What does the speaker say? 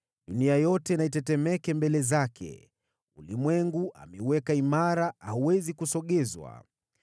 Dunia yote na itetemeke mbele zake! Ulimwengu ameuweka imara; hauwezi kusogezwa.